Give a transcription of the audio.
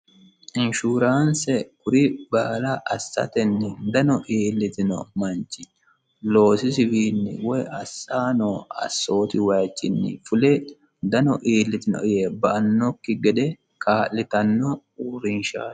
inshuuraanse kuri baala assatenni dano iillitino manchi loosisiwiinni woy assaano assooti wayichinni fule dano iillitino yee ba annokki gede kaa'litanno uurriinshaao